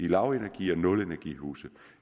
lavenergi eller nul energi huse